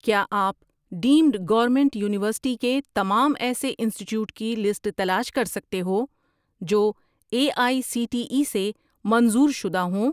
کیا آپ deemed government university کے تمام ایسے انسٹیٹیوٹس کی لسٹ تلاش کر سکتے ہو جو A I C T E سے منظور شدہ ہوں؟